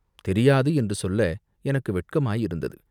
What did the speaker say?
தெரியாது என்று சொல்ல எனக்கு வெட்கமாயிருந்தது.